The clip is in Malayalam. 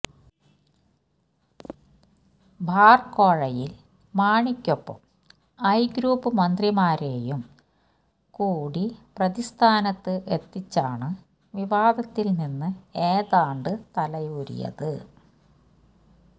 ബാർ കോഴയിൽ മാണിയ്ക്കൊപ്പം ഐ ഗ്രൂപ്പ് മന്ത്രിമാരേയും കൂടി പ്രതിസ്ഥാനത്ത് എത്തിച്ചാണ് വിവാദത്തിൽ നിന്ന് ഏതാണ്ട് തലയൂരിയത്